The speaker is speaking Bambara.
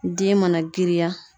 Den mana girinya